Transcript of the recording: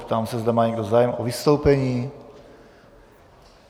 Ptám se, zda má někdo zájem o vystoupení.